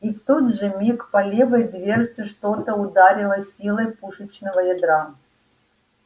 и в тот же миг по левой дверце что-то ударило с силой пушечного ядра